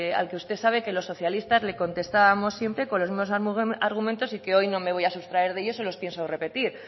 a lo que usted sabe que los socialistas le contestábamos siempre con los mismos argumentos y que hoy no me voy a sustraer de ellos se los pienso repetir